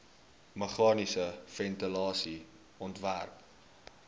meganiese ventilasie ontwerp